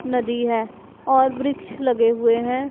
नदी है और वृक्ष लगे हुए हैं।